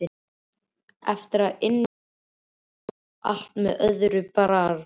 Eftir að inn var komið var allt með öðrum brag.